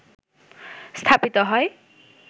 স্থাপিত হয়